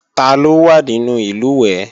Taló wà nínú ìlùwẹ̀ẹ̀?